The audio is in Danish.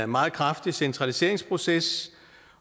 meget kraftig centraliseringsproces